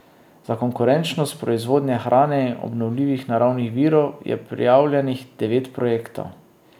Za konkurenčnost proizvodnje hrane in obnovljivih naravnih virov je prijavljenih devet projektov.